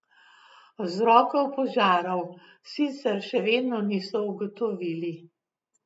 Vzrokov požarov sicer še vedno niso ugotovili.